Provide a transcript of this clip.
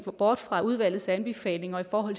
bort fra udvalgets anbefalinger om